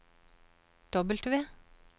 W